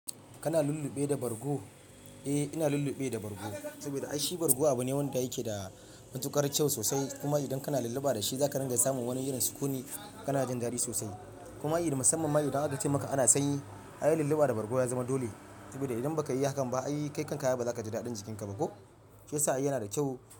Kana lulluɓe da bargo? Eh, ina lulluɓe da bargo, saboda ai shi bargo abu ne wanda yake da matuƙar kyau sosai. Kuma idan kana lulluɓa da shi za ka ringa samun wani irin sukuni kana jin daɗi sosai. Kuma irin musamman ma idan aka ce maka ana sanyi ai lulluɓa da bargo ya zama dole. Saboda idan baka yi hakan ba ai, kai kan ka ba za ka ji daɗin jikinka ba ko? Shi yasa ai yana da kyau.